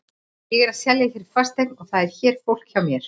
Ég er að selja hér fasteign og það er hér fólk hjá mér.